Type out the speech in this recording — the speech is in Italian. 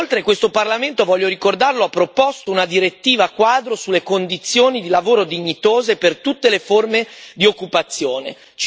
Inoltre, questo Parlamento, voglio ricordarlo, ha proposto una direttiva quadro sulle condizioni di lavoro dignitose per tutte le forme di occupazione.